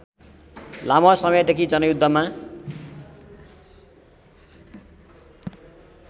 लामो समयदेखि जनयुद्धमा